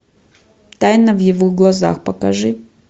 тайна в его глазах покажи